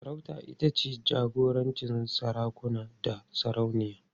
Sarauta ita ce jagorancin sarakuna da sarauniya.